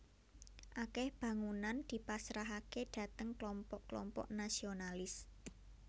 Akèh bangunan dipasrahaké dhateng klompok klompok nasionalis